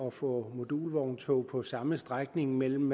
at få modulvogntog på samme strækning mellem